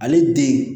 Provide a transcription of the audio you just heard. Ale den